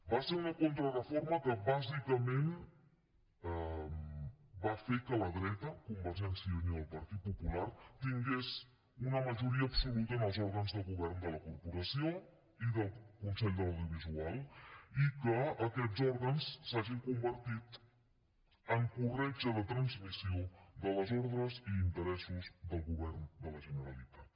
va ser una contrareforma que bàsicament va fer que la dreta convergència i unió i el partit popular tingués una majoria absoluta en els òrgans de govern de la corporació i del consell de l’audiovisual i que aquests òrgans s’hagin convertit en corretja de transmissió de les ordres i interessos del govern de la generalitat